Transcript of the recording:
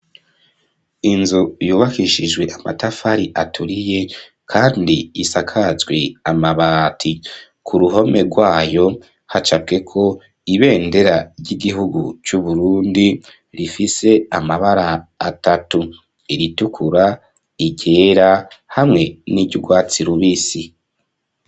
Inzu, yubakishijwe amatafari, aturiye, kandi isakajwe amabati; ku ruhome rwayo, hacapweko ibendera, ry'igihugu c'Uburundi; rifise amabara atatu: iritukura, iryera, hamwe n'iry'urwatsi rubisi.